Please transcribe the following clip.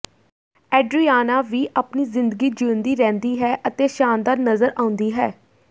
Adriana ਵੀ ਆਪਣੀ ਜ਼ਿੰਦਗੀ ਜੀਉਂਦੀ ਰਹਿੰਦੀ ਹੈ ਅਤੇ ਸ਼ਾਨਦਾਰ ਨਜ਼ਰ ਆਉਂਦੀ ਹੈ